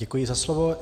Děkuji za slovo.